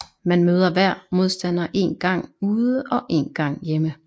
Man møder hver modstander én gang ude og én gang hjemme